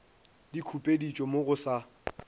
di khupeditšwe mo go sa